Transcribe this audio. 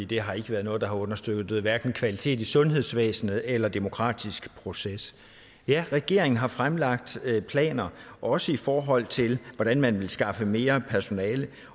det har ikke været noget der har understøttet hverken kvaliteten i sundhedsvæsenet eller den demokratiske proces ja regeringen har fremlagt planer også i forhold til hvordan man vil skaffe mere personale